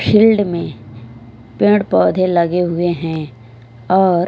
chilled में पेड़ पोधे लगे हुए है और--